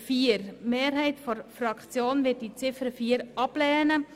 Die Mehrheit unserer Fraktion wird sie ablehnen.